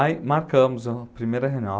Aí marcamos a primeira reunião.